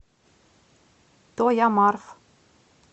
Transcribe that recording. тоямарф